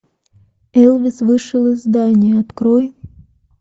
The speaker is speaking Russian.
элвис вышел из здания открой